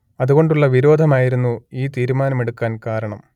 അതുകൊണ്ടുള്ള വിരോധമായിരുന്നു ഈ തീരുമാനമെടുക്കാൻ കാരണം